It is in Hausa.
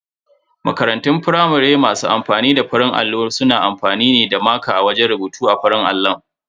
Makarantun firamare masu amfani da farin allo suna amfani ne da maƙa wajen rubutu a farin allon.